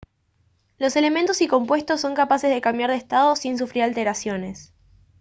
los elementos y compuestos son capaces de cambiar de estado sin sufrir alteraciones